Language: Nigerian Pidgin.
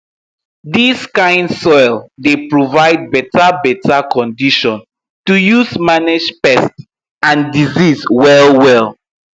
dis kind soil dey provide beta beta condition to use manage pest and disease well well